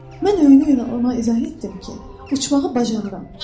Mən öynə-öynə ona izah etdim ki, uçmağı bacarıram.